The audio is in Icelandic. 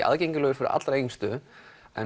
aðgengilegur fyrir þau yngstu en